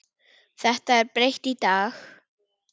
Þetta er breytt í dag.